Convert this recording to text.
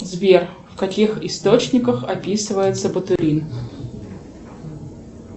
сбер в каких источниках описывается ботулин